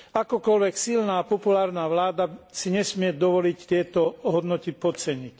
Akokoľvek silná populárna vláda si nesmie dovoliť tieto hodnoty podceniť.